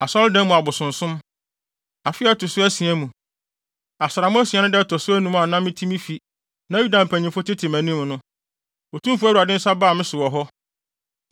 Afe a ɛto so asia mu, asram asia no da a ɛto so anum a na mete me fi, na Yuda mpanyimfo tete mʼanim no, Otumfo Awurade nsa baa me so wɔ hɔ.